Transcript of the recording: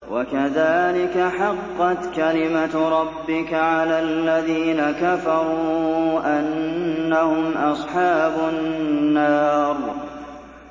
وَكَذَٰلِكَ حَقَّتْ كَلِمَتُ رَبِّكَ عَلَى الَّذِينَ كَفَرُوا أَنَّهُمْ أَصْحَابُ النَّارِ